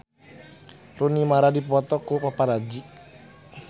Rooney Mara dipoto ku paparazi